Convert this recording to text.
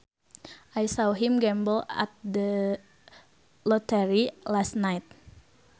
I saw him gamble at the lottery last night